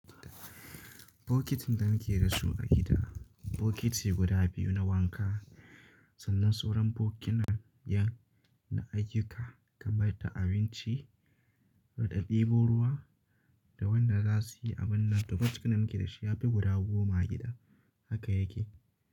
Bokitin da muke da su a gida, bokiti guda biyu na wanka sannan suran bokita ƴan na ayyuka, kaman da abinci, ka ɗabo ruwa da wanda za su yi abin nata. Duka duka da muke da shi ya fi guda goma a gida haka yake.